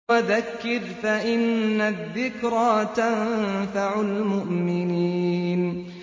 وَذَكِّرْ فَإِنَّ الذِّكْرَىٰ تَنفَعُ الْمُؤْمِنِينَ